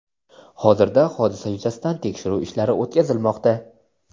Hozirda hodisa yuzasidan tekshiruv ishlari o‘tkazilmoqda.